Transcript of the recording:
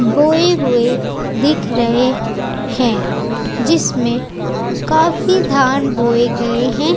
बोये हुए दिखे रहे हैं जिसमें काफी धान बोये गए हैं।